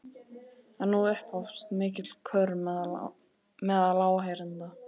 En nú upphófst mikill kurr meðal áheyrenda.